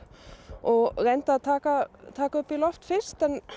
og reyndi að taka taka á loft fyrst